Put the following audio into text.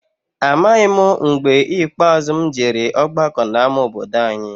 Amaghị m mgbe ikpeazụ m jere ọgbakọ n'ama obodo any'.